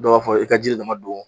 Dɔw b'a fɔ i ka jiri dama don